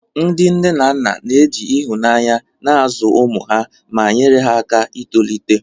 Ndị nne na nna na-eji ịhụnanya na-azụ ụmụ ha, ma nyere ha aka itolite.